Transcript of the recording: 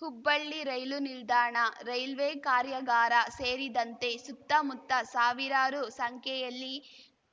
ಹುಬ್ಬಳ್ಳಿ ರೈಲು ನಿಲ್ದಾಣ ರೈಲ್ವೆ ಕಾರ್ಯಾಗಾರ ಸೇರಿದಂತೆ ಸುತ್ತಮುತ್ತ ಸಾವಿರಾರು ಸಂಖ್ಯೆಯಲ್ಲಿ